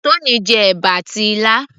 Tony jẹ ẹ̀bà àti ilá